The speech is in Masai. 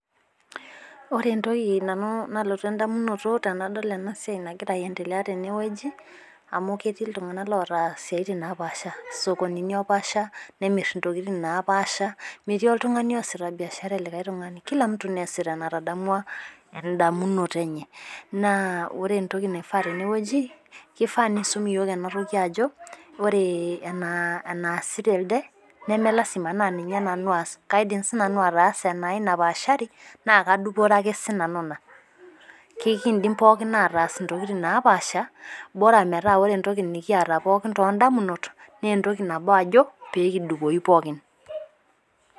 Ore entoki Nanu nalotu idamunoto tenadol ena siai nagira aa Endelea teneweji amu keeti iltung'ana loota isiatin naapasha isokonini opasha nemir intokitin napaasha meeti oltung'ani oosita. biashara elikai tung'ani Kula mtu neesita enatadamua edamunoto enye. Naa ore entoki naifaa teneweji keifaa neisum iyiok ena toki ajo ore ena asita else nemelasima naa Nanu aas. Kaidim sii Nanu ataasa enai napashari naa kadupore Ake sii Nanu ina. Kidim pookin ataas intokitin naapasha bora meeta ore entoki Nikiyata pookin too damunot naa entoki nabo ajo pee kidupoyu pookin.